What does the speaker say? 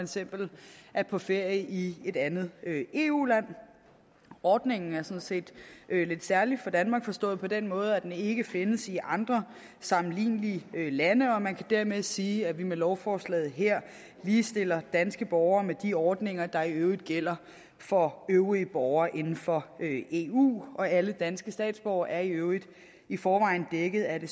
eksempel er på ferie i et andet eu land ordningen er sådan set lidt særlig for danmark forstået på den måde at den ikke findes i andre sammenlignelige lande og man kan dermed sige at vi med lovforslaget her ligestiller danske borgere med de ordninger der i øvrigt gælder for øvrige borgere inden for eu alle danske statsborgere er i øvrigt i forvejen dækket af det